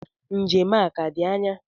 Njem a a-ka di anya?